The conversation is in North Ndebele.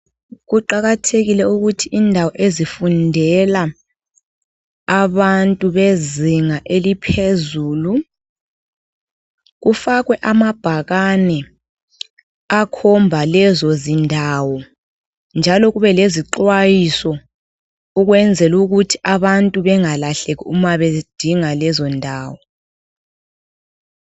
Kuqakathekile ukuthi indawo ezifundela abantu bezinga eliphezulu kufakwe amabhakane akhomba lezozindawo njalo kubelezixhwayiso ukwenzela ukuthi abantu bengalahleki uma bedinga lezondawo.